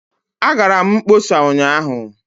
Agara m mkpọsa ụnyaahụ